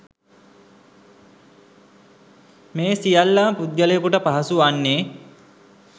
මේ සියල්ල ම පුද්ගලයකුට පහසු වන්නේ